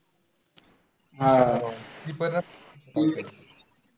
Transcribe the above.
आह